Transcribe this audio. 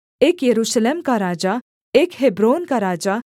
एक यरूशलेम का राजा एक हेब्रोन का राजा